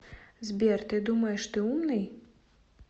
сбер ты думаешь ты умный